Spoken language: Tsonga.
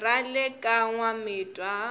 ra le ka n wamitwa